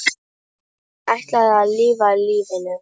Ég ætla að lifa lífinu.